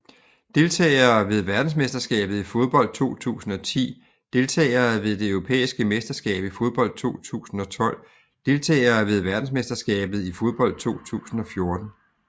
Deltagere ved verdensmesterskabet i fodbold 2010 Deltagere ved det europæiske mesterskab i fodbold 2012 Deltagere ved verdensmesterskabet i fodbold 2014